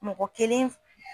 Mɔgɔ kelen